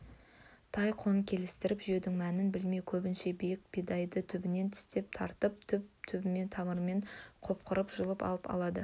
тай құлын келістіріп жеудің мәнін білмей көбінше биік бидайды түбінен тістеп тартып түп-түбімен тамырымен қопарып жұлып алады